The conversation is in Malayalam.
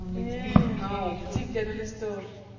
മ്മ് ഓൾക് chicken അല്ലെ ഇഷ്ട്ടം